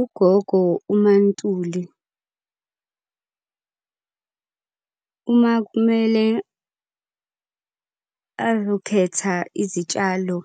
Ugogo uMaNtuli, uma kumele azokhetha izitshalo